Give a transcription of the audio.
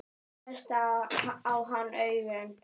Hún hvessti á hann augun.